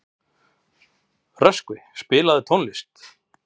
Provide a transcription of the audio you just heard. Röskvi, spilaðu tónlist.